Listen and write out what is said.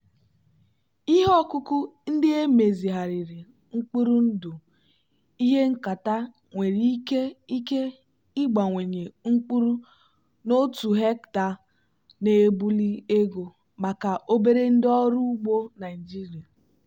ihe ọkụkụ ndị emezigharịrị mkpụrụ ndụ ihe nketa nwere ike ike ịbawanye mkpụrụ n'otu hectare na-ebuli ego maka obere ndị ọrụ ugbo naijiria.